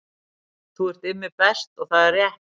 Þú ert Immi Best og það er rétt